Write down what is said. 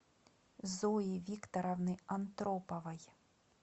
зои викторовны антроповой